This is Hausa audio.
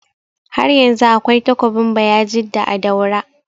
Haryanzu akwai takobin bayajidda a daura